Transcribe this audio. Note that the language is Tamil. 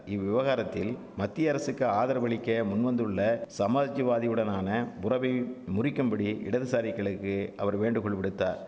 இவ்விவகாரத்தில் மத்திய அரசுக்கு ஆதரவளிக்க முன்வந்துள்ள சமாஜ்வாதியுடனான உறவைவ் முறிக்கும்படி இடதுசாரிகளுக்கு அவர் வேண்டுகோள் விடுத்தார்